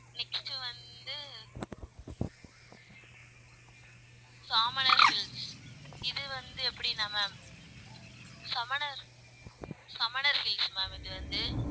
next வந்து Samanar hills இது வந்து எப்படின்னா ma'am Samanar Samanar hills ma'am இது வந்து